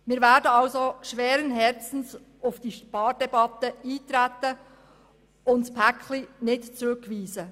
Wir werden also schweren Herzens auf die Spardebatte eintreten und das EP 2018 nicht zurückweisen.